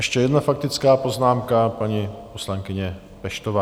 Ještě jedna faktická poznámka paní poslankyně Peštové.